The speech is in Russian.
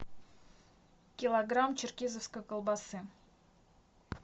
килограмм черкизовской колбасы